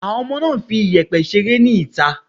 Àwọn ọmọ náà ń fi iyẹ̀pẹ̀ ṣeré ni ìta.